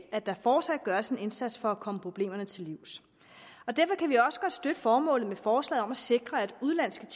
at der fortsat gøres en indsats for at komme problemerne til livs og derfor kan vi også godt støtte formålet med forslaget om at sikre at udenlandske